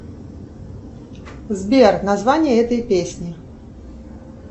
сбер название этой песни